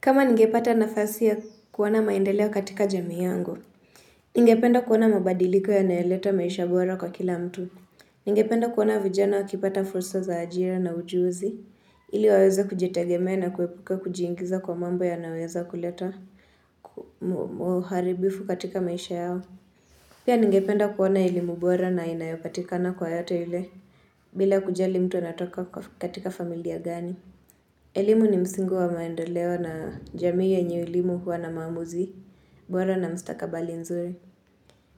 Kama ningepata nafasi ya kuona maendeleo katika jamii yangu, ningependa kuoana mabadiliko ya nayeleta maisha bora kwa kila mtu. Ningependa kuoana vijana wa kipata fursa za ajira na ujuzi, ili waweza kujitegemea na kuwepuke kujiingiza kwa mambo yanayoweza kuleta muharibifu katika maisha yao. Pia ningependa kuoana elimu bora na inayopatikana kwa yeyote yule, bila kujali mtu anatoka katika familia gani. Elimu ni msingi wa maendeleo na jamii yenye elimu huwa na maamuzi, bora na mstakabali nzuri.